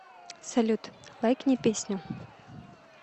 салют лайкни песню